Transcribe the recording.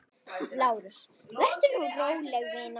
LÁRUS: Vertu nú róleg, vina.